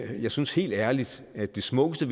jeg synes helt ærligt at det smukkeste